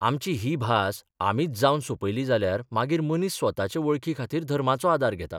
आमची ही भास आमीच जावन सौंपयली जाल्यार मागीर मनीस स्वताचे वळखीखातीर धर्माचो आदार घेता.